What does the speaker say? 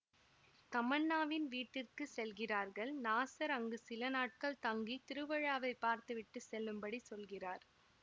தமன்னாவின் வீட்டிற்கு செல்கிறார்கள் நாசர் அங்கு சில நாட்கள் தங்கி திருவிழாவை பார்த்துவிட்டு செல்லும்படி சொல்கிறார்